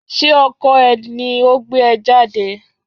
Ṣé ọkọ ẹ ni o gbé ẹ jáde?